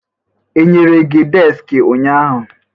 Enyere gị deski ụnyaahụ?